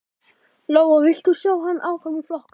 Lóa: Vilt þú sjá hann áfram í flokknum?